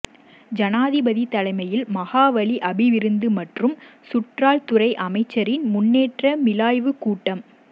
ஜனாதிபதி தலைமையில் மகாவலி அபிவிருத்தி மற்றும் சுற்றாடல் துறை அமைச்சின் முன்னேற்ற மீளாய்வு கூட்டம்